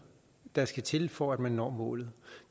der skal til for at man når målet